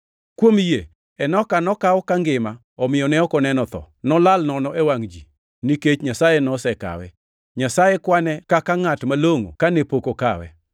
Kuom yie, Enoka nokaw kangima omiyo ne ok oneno tho, nolal nono e wangʼ ji + 11:5 \+xt Chak 5:24\+xt* nikech Nyasaye nosekawe. Nyasaye kwane kaka ngʼat malongʼo kane pok okawe.